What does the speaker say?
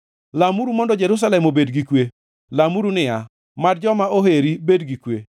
Lamuru mondo Jerusalem obed gi kwe. Lamuru niya, “Mad joma oheri bed gi kwe.